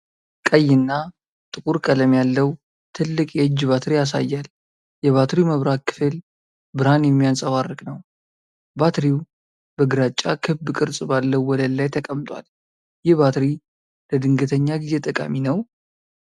ቀይ እና ጥቁር ቀለም ያለው ትልቅ የእጅ ባትሪ ያሳያል። የባትሪው መብራት ክፍል ብርሀን የሚያንፀባርቅ ነው። ባትሪው በግራጫ ክብ ቅርጽ ባለው ወለል ላይ ተቀምጧል። ይህ ባትሪ ለድንገተኛ ጊዜ ጠቃሚ ነው?